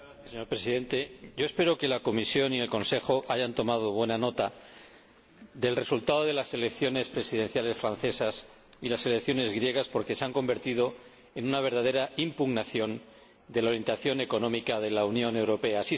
Señor Presidente, yo espero que la Comisión y el Consejo hayan tomado buena nota del resultado de las elecciones presidenciales francesas y de las elecciones griegas, porque se han convertido en una verdadera impugnación de la orientación económica de la Unión Europea.